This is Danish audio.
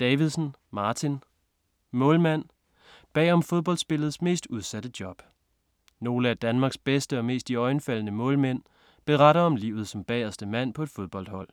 Davidsen, Martin: Målmand: bag om fodboldspillets mest udsatte job Nogle af Danmarks bedste og mest iøjnefaldende målmænd beretter om livet som bagerste mand på et fodboldhold.